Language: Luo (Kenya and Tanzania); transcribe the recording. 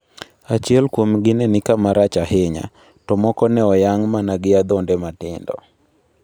Achiel kuomgi ne ni kama rach ahinya, to moko ne oyang' mana gi adhonde matindo.